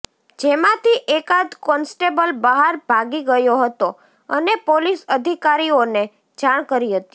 જેમાંથી એકાદ કોન્સ્ટેબલ બહાર ભાગી ગયો હતો અને પોલીસ અધિકારીઓને જાણ કરી હતી